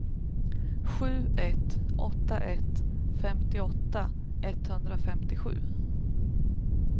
sju ett åtta ett femtioåtta etthundrafemtiosju